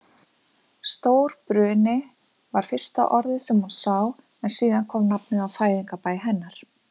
Stórbruni. var fyrsta orðið sem hún sá en síðan kom nafnið á fæðingarbæ hennar.